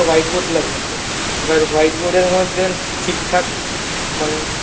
white board লাগিয়েছে এবার white board এর মধ্যে ঠিক থাকে মানে